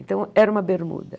Então, era uma bermuda.